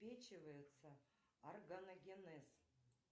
органогенез